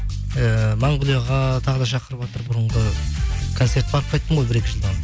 ііі монғолияға тағы да шақырыватыр бұрынғы концерт барып қайттым ғой бір екі